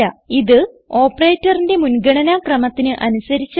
ഇത് ഓപ്പറേറ്ററിന്റെ മുൻഗണന ക്രമത്തിന് അനുസരിച്ചാണ്